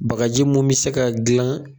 Bakaji mun be se ka gilan